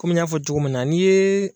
Komi n y'a fɔ cogo min na n'i yee